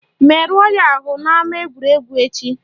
Merụọ ya ahụ n'ama egwuregwu echi!